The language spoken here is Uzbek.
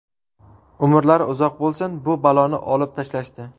Umrlari uzoq bo‘lsin, bu baloni olib tashlashdi.